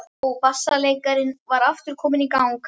Og bassaleikarinn var aftur kominn í gang.